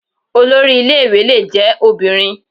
Olori ilé ìwé lè jẹ́ obìnrin.